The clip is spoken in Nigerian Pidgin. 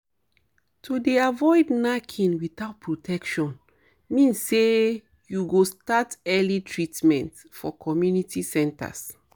to dey avoid knacking without protection means say you go start early treatment for community centres